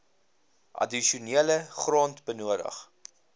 addisionele grond benodig